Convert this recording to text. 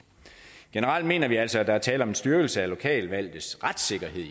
generelt mener vi altså at der er tale om en styrkelse af lokalvalgtes retssikkerhed